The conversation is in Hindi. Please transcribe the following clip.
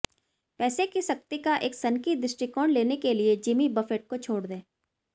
पैसे की शक्ति का एक सनकी दृष्टिकोण लेने के लिए जिमी बफेट को छोड़ दें